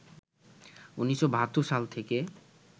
১৯৭২ সাল থেকে